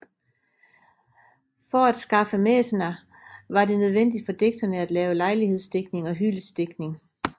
For at skaffe mæcener var det nødvendigt for digterne at lave lejlighedsdigtning og hyldestdigtning